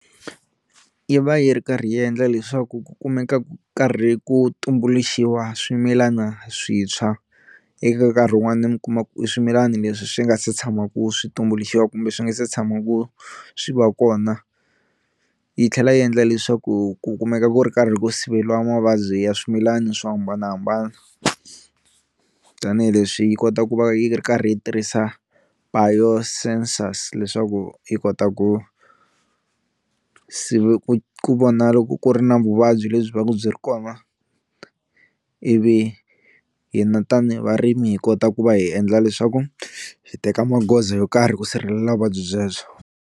Yi va yi ri karhi yi endla leswaku ku kumeka ku karhi ku tumbuluxiwa swimilana swintshwa, eka nkarhi wun'wana mi kuma ku i swimilani leswi swi nga se tshamaku swi tumbuluxiwa kumbe swi nga se tshamaku swi va kona, yi tlhela yi endla leswaku ku kumeka ku ri karhi ku siveliwa mavabyi ya swimilana swo hambanahambana tanihileswi yi kota ku va yi ri karhi yi tirhisa biosensors leswaku yi kota ku ku vona loko ku ri na vuvabyi lebyi byi va ku byi ri kona ivi hina tanihi varimi hi kota ku va hi endla leswaku hi teka magoza yo karhi ku sirhelela vuvabyi byebyo.